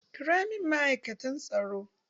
Ƙira min ma'aikatan tsaro!